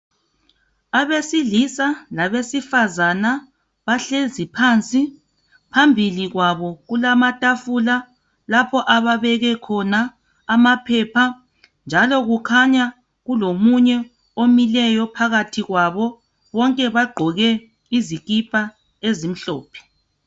Abesilisa labesifazana bahlezi phansi. Phambili kwabo kulamatafula lapho ababeke khona ama phepha njalo kukhanya kulomunye omileyo phakathi kwabo. Bonke bagqoke izikipa ezimhlophe.